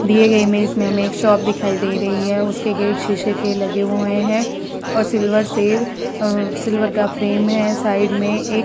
दिए गए इमेज में हमें एक शॉप दिखाई दे रही है। उसके गेट शीशे के लगे हुए हैं और सिल्वर से सिल्वर का फ्रेम है साइड से।